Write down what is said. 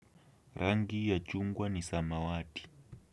Rangi ya chungwa ni samawati.